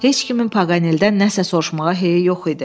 Heç kimin Paganeldən nəsə soruşmağa heyi yox idi.